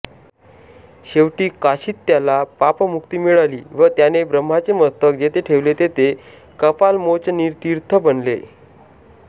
शेवटी काशीत त्याला पापमुक्ती मिळाली व त्याने ब्रम्हाचे मस्तक जेथे ठेवले तेथे कपालमोचनतीर्थ बनले